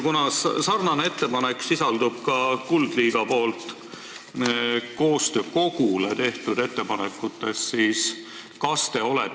Sama ettepanek sisaldub ka vabaühenduse Kuldliiga ettepanekutes Eesti Koostöö Kogule.